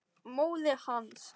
Móðir hans